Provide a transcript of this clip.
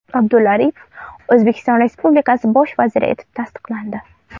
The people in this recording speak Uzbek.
Abdulla Aripov O‘zbekiston Respublikasi bosh vaziri etib tasdiqlandi.